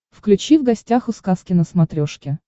включи в гостях у сказки на смотрешке